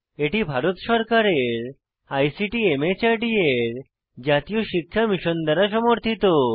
এটি ভারত সরকারের আইসিটি মাহর্দ এর জাতীয় শিক্ষা মিশন দ্বারা সমর্থিত